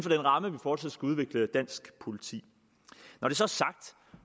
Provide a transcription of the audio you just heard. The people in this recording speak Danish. ramme vi fortsat skal udvikle dansk politi når det så er sagt